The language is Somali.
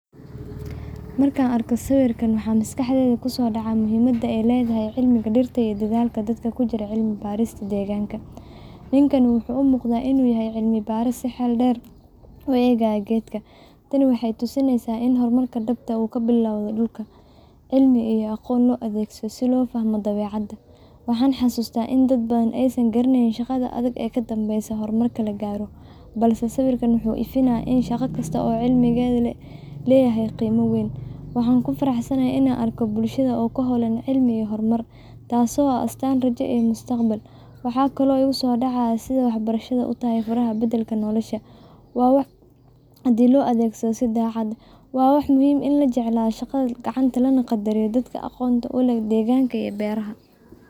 Markaan arko sawirkan, waxa maskaxdayda ku soo dhacaya waa muhiimadda ay leedahay cilmiga dhirta iyo dadaalka dadka ku jira cilmi-baarista deegaanka. Ninkan wuxuu u muuqdaa inuu yahay cilmi-baare si xeel dheer u eegaya geed. Tani waxay tusinaysaa in horumarka dhabta ahi uu ka bilowdo dhulka, cilmi, iyo aqoon loo adeegsado si loo fahmo dabeecadda. Waxaan xasuustaa in dad badan aysan garaneyn shaqada adag ee ka dambeysa horumarka la gaaro, balse sawirkan waxa uu ifinayaa in shaqo kasta oo cilmiyeed ay leedahay qiime weyn. Waxaan ku faraxsanahay in aan arko dad madow ah oo ku hawlan cilmi iyo horumar, taasoo ah astaan rajo iyo mustaqbal. Waxaa kale oo maskaxda iigu soo dhacaya sida waxbarashadu u tahay furaha beddelka nolosha, haddii loo adeegsado si daacad ah. Sawirkan waa cashar in la jeclaado shaqada gacanta, lana qaddariyo dadka aqoonta u leh deegaanka iyo beeraha.